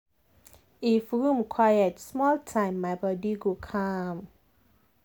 if room quiet small time my body go calm.